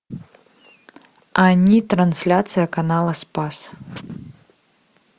они трансляция канала спас